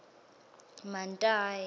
mantayi